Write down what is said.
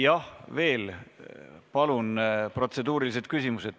Jah, veel, palun, protseduurilised küsimused.